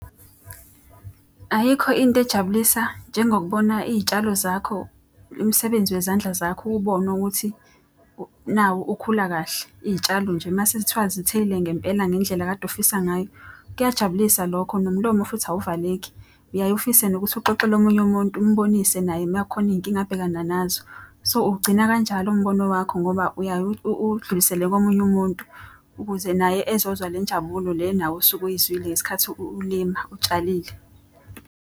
Ayikho into ejabulisa njengokubona iy'tshalo zakho, umsebenzi wezandla zakho uwubone ukuthi nawo ukhula kahle. Iy'tshalo nje uma sekuthiwa zithelile ngempela ngendlela okade ufisa ngayo. Kuyajabulisa lokho nomlomo futhi awuvaleki. Uyaye ufise nokuthi uxoxele omunye umuntu umbonise naye uma kukhona iy'nkinga abhekana nazo. So, ugcina kanjalo umbono wakho ngoba uyaye udlulisele komunye umuntu ukuze naye ezozwa le njabulo le nawe osuke uyizwile ngesikhathi ulima utshalile.